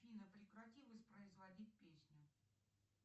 афина прекрати воспроизводить песню